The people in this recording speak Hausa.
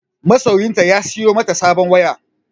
Masoyiyarta ya siyo mata sabon waya.